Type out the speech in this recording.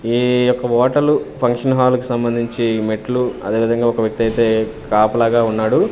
ఈ యొక్క ఓటలు ఫంక్షన్ హాల్ కి సంబంధించి మెట్లు అదే విధంగా ఒక వ్యక్తి అయితే కాపలాగా ఉన్నాడు.